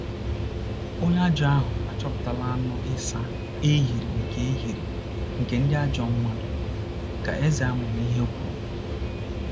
“Onye ajọ ahụ achọpụtala anụ ịsa ahịrị nke ahịrị nke ndị ajọ mmadụ,” ka eze amamihe kwuru.